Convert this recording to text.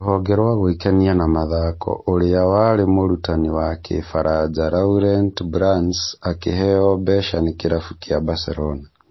Rũhonge rwa gwĩkenia na mathako ũria warĩ mũrutani wa kĩfaranja Laurent Blance akĩheo mbeca cia nĩ kĩrabu kĩa Barcelona